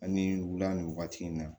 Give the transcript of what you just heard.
Ani wula nin wagati in na